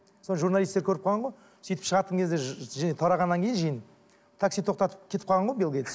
соны журналистер көріп қалған ғой сөйтіп шығатын кезде тарағаннан кейін жиын такси тоқтатып кетіп қалған ғой бил гейтс